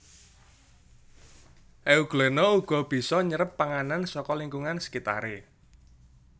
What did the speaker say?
Euglena uga bisa nyerep panganan saka lingkungan sekitaré